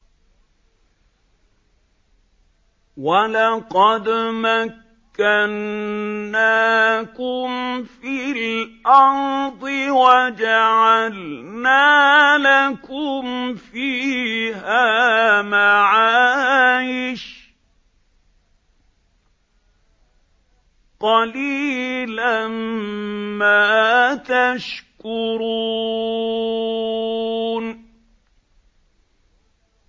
وَلَقَدْ مَكَّنَّاكُمْ فِي الْأَرْضِ وَجَعَلْنَا لَكُمْ فِيهَا مَعَايِشَ ۗ قَلِيلًا مَّا تَشْكُرُونَ